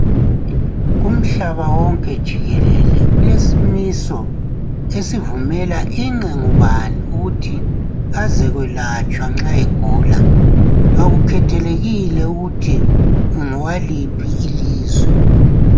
Kumhlaba wonke jikelele. Kulesimiso esivumela ingqe ngubani ukuthi azekwelatshwa nxa egula. Kakukhethelekile ukuthi ungowaliphi ilizwe.